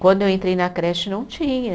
Quando eu entrei na creche não tinha.